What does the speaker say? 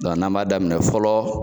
n'an b'a daminɛ fɔlɔ.